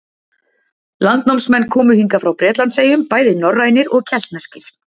Landnámsmenn komu hingað frá Bretlandseyjum bæði norrænir og keltneskir.